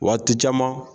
Waati caman